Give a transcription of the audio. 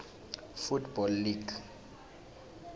football league